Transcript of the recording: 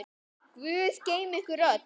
Guð geymi ykkur öll.